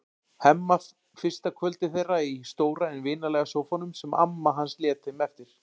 Hemma fyrsta kvöldið þeirra í stóra en vinalega sófanum sem amma hans lét þeim eftir.